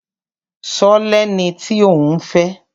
Ṣo lẹni tí òún fẹ́?